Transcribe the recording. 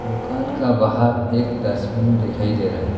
दोकान का बाहर एक डस्टबिन देखाई दे रहा है।